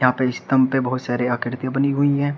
स्तंभ पे बहोत सारी आकृति बनी हुई है।